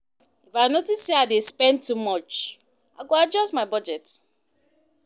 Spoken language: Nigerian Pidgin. If I notice say I dey spend too much, I go adjust my budget.